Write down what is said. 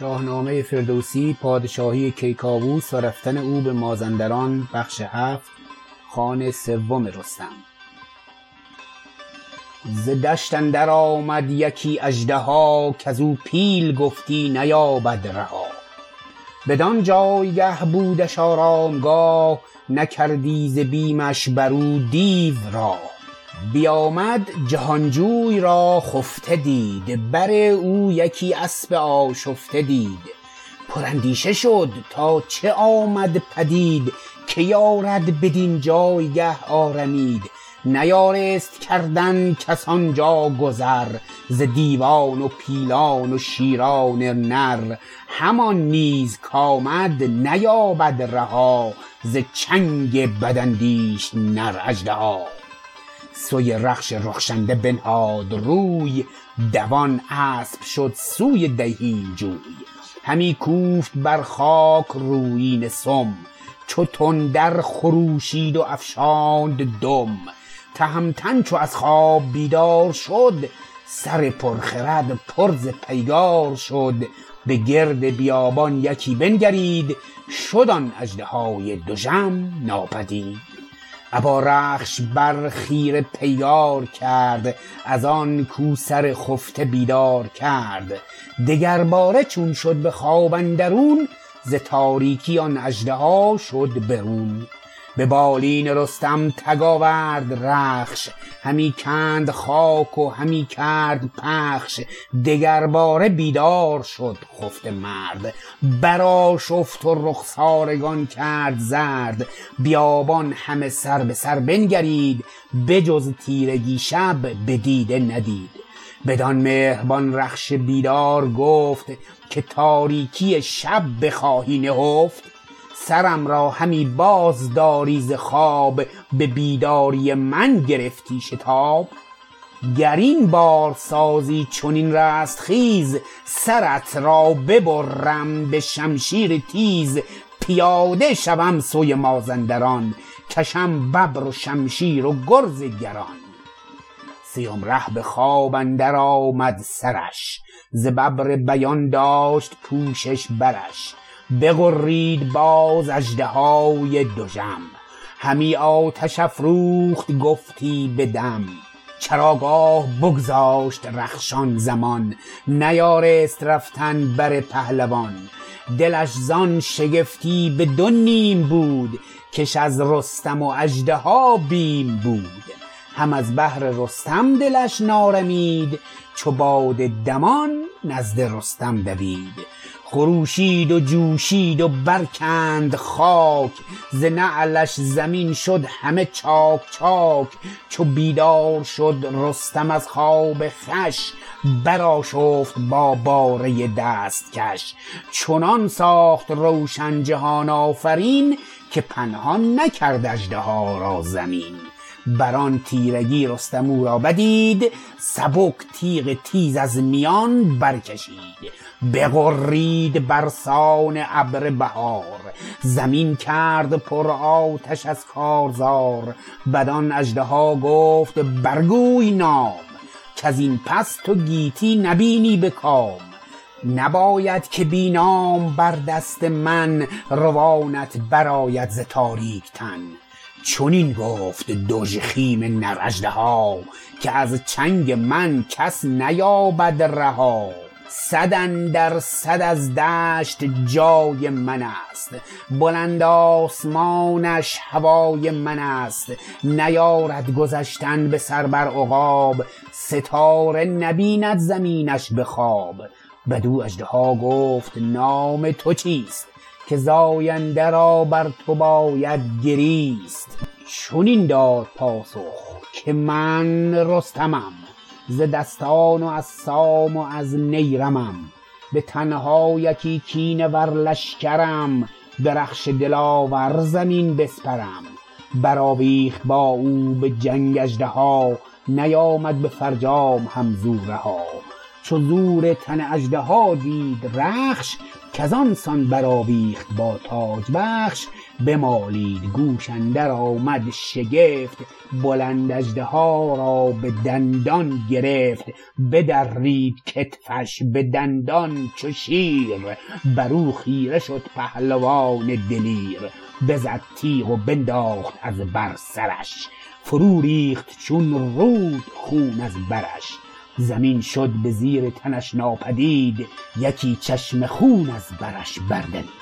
ز دشت اندر آمد یکی اژدها کزو پیل گفتی نیابد رها بدان جایگه بودش آرامگاه نکردی ز بیمش برو دیو راه بیامد جهانجوی را خفته دید بر او یکی اسپ آشفته دید پر اندیشه شد تا چه آمد پدید که یارد بدین جایگاه آرمید نیارست کردن کس آنجا گذر ز دیوان و پیلان و شیران نر همان نیز کامد نیابد رها ز چنگ بداندیش نر اژدها سوی رخش رخشنده بنهاد روی دوان اسپ شد سوی دیهیم جوی همی کوفت بر خاک رویینه سم چو تندر خروشید و افشاند دم تهمتن چو از خواب بیدار شد سر پر خرد پر ز پیکار شد به گرد بیابان یکی بنگرید شد آن اژدهای دژم ناپدید ابا رخش بر خیره پیکار کرد ازان کاو سرخفته بیدار کرد دگر باره چون شد به خواب اندرون ز تاریکی آن اژدها شد برون به بالین رستم تگ آورد رخش همی کند خاک و همی کرد پخش دگرباره بیدار شد خفته مرد برآشفت و رخسارگان کرد زرد بیابان همه سر به سر بنگرید بجز تیرگی شب به دیده ندید بدان مهربان رخش بیدار گفت که تاریکی شب بخواهی نهفت سرم را همی باز داری ز خواب به بیداری من گرفتت شتاب گر این بار سازی چنین رستخیز سرت را ببرم به شمشیر تیز پیاده شوم سوی مازندران کشم ببر و شمشمیر و گرز گران سیم ره به خواب اندر آمد سرش ز ببر بیان داشت پوشش برش بغرید باز اژدهای دژم همی آتش افروخت گفتی بدم چراگاه بگذاشت رخش آنزمان نیارست رفتن بر پهلوان دلش زان شگفتی به دو نیم بود کش از رستم و اژدها بیم بود هم از بهر رستم دلش نارمید چو باد دمان نزد رستم دوید خروشید و جوشید و برکند خاک ز نعلش زمین شد همه چاک چاک چو بیدار شد رستم از خواب خوش برآشفت با باره دستکش چنان ساخت روشن جهان آفرین که پنهان نکرد اژدها را زمین برآن تیرگی رستم او را بدید سبک تیغ تیز از میان برکشید بغرید برسان ابر بهار زمین کرد پر آتش از کارزار بدان اژدها گفت بر گوی نام کزین پس تو گیتی نبینی به کام نباید که بی نام بر دست من روانت برآید ز تاریک تن چنین گفت دژخیم نر اژدها که از چنگ من کس نیابد رها صداندرصد از دشت جای منست بلند آسمانش هوای منست نیارد گذشتن به سر بر عقاب ستاره نبیند زمینش به خواب بدو اژدها گفت نام تو چیست که زاینده را بر تو باید گریست چنین داد پاسخ که من رستمم ز دستان و از سام و از نیرمم به تنها یکی کینه ور لشکرم به رخش دلاور زمین بسپرم برآویخت با او به جنگ اژدها نیامد به فرجام هم زو رها چو زور تن اژدها دید رخش کزان سان برآویخت با تاجبخش بمالید گوش اندر آمد شگفت بلند اژدها را به دندان گرفت بدرید کتفش بدندان چو شیر برو خیره شد پهلوان دلیر بزد تیغ و بنداخت از بر سرش فرو ریخت چون رود خون از برش زمین شد به زیر تنش ناپدید یکی چشمه خون از برش بردمید